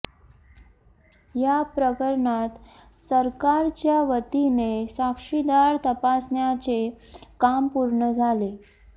या प्रकरणात सरकारच्या वतीने साक्षीदार तपासण्याचे काम पूर्ण झाले